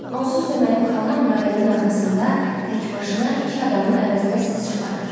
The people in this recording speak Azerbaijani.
Onsuz da mənim xalam rayalın arxasında tək başına iki adamın əvəzinə səs çıxarır.